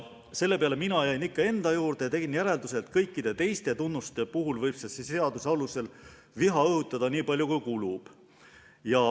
Selle peale jäin mina ikka endale kindlaks ja tegin järelduse, et kõikide teiste tunnuste puhul võib selle seaduseelnõu alusel viha õhutada nii palju, kui kulub.